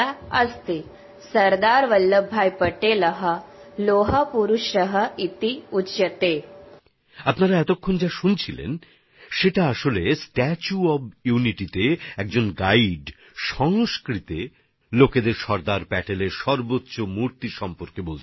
আসলে এইমাত্র আপনারা যা শুনছিলেন এতে স্ট্যাচু অফ ইউনিটি নিয়ে একজন গাইড সংস্কৃত ভাষায় বলছেন পর্যটকদের বিশ্বের সর্বোচ্চ সর্দার প্যাটেলের মূর্তি সম্পর্কে বলছেন